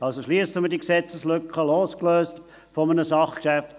Also: Schliessen wir diese Gesetzeslücke, losgelöst von einem Sachgeschäft.